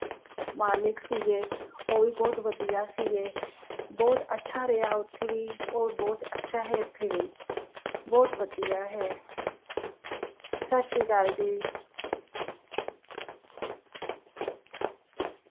ਮਾਲਕ ਸੀ ਗਏ ਉਹ ਵੀ ਬਹੁਤ ਵਧੀਆ ਸੀ ਗਏ, ਬਹੁਤ ਅੱਛਾ ਰਿਹਾ ਉੱਥੇ ਵੀ ਔਰ ਬਹੁਤ ਅੱਛਾ ਰਿਹਾ ਏਥੇ ਵੀ, ਬਹੁਤ ਵਧੀਆ ਹੈ। ਸਤਿ ਸ਼੍ਰੀ ਆਕਾਲ ਜੀ।